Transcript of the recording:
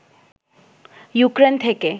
Ukraine থেকে